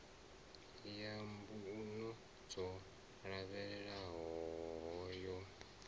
ya mbuno dzo lavhelelwaho yo